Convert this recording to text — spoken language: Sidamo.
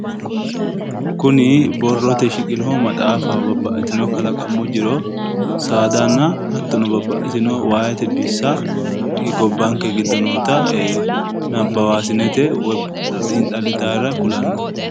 Kuni babbaxitino borro amadino maaxafati saadanna waa amadino borreesittanoriranna xiinxalittarira borreesinenna nooho